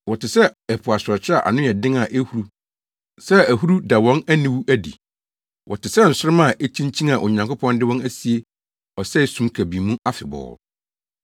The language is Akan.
Wɔte sɛ po asorɔkye a ano yɛ den a ehuru sɛ ahuru da wɔn aniwude adi. Wɔte sɛ nsoromma a ekyinkyin a Onyankopɔn de wɔn asie ɔsɛe sum kabii mu afebɔɔ.